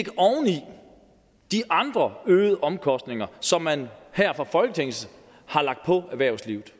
de andre øgede omkostninger som man her fra folketinget har lagt på erhvervslivet